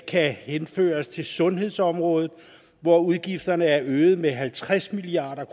kan henføres til sundhedsområdet hvor udgifterne er øget med halvtreds milliard